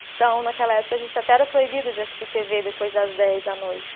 Então, naquela época, a gente até era proibido de assistir tê vê depois das dez da noite.